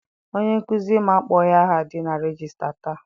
Onye nkụzi m akpọghi aha dị na regista taa.